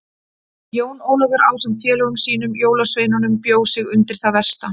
Jón Ólafur ásamt félögum sínum jólasveinunum bjó sig undir það versta.